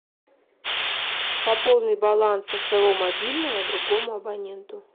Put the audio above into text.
пополнить баланс со своего мобильного другому абоненту